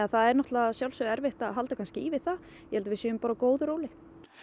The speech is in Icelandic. það er að sjálfsögðu erfitt að halda í við það ég held að við séum á góðu róli